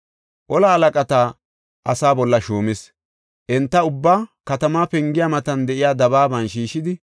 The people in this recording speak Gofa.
Ola halaqata asaa bolla shuumis; enta ubbaa katamaa pengiya matan de7iya dabaaban shiishidi,